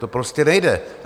To prostě nejde.